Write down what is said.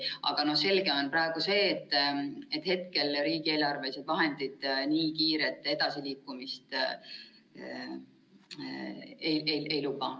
Aga selge on see, et hetkel riigieelarvelised vahendid nii kiiret edasiliikumist ei luba.